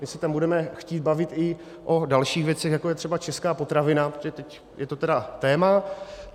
My se tam budeme chtít bavit i o dalších věcech, jako je třeba česká potravina, protože teď je to tedy téma.